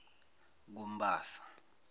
kumbasa